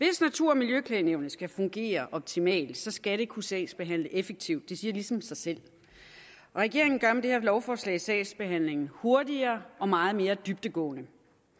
og miljøklagenævnet skal fungere optimalt så skal det kunne sagsbehandle effektivt det siger ligesom sig selv og regeringen gør med det her lovforslag sagsbehandlingen hurtigere og meget mere dybdegående